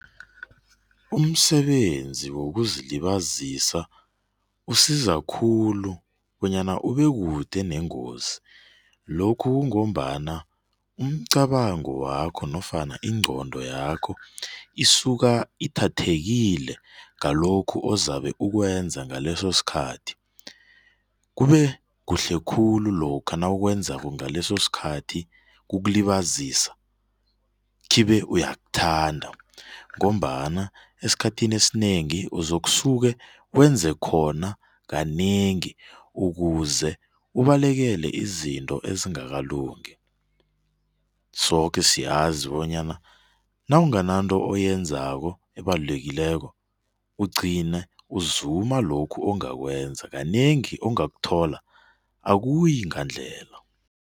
Umsebenzi wokuzilibazisa usiza khulu bonyana ubeke kude nengozi. Lokhu kungombana umcabango wakho nofana ingqondo yakho isuka ithathekile ngalokhu uzabe ukwenza ngaleso sikhathi kube kuhle khulu lokha nawukwenzako ngaleso sikhathi ukulibazisa khibe uyakuthanda ngombana esikhathini esinengi uzokusuke wenze khona kanengi ukuze ubalekele izinto ezingakalungi. Soke siyazi bonyana nawungananto oyenzako ebalulekileko ugcine uzuma lokhu ongakwenza, kanengi ongakuthola, akuyi ngandlela.